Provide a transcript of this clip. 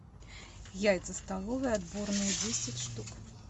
яйца столовые отборные десять штук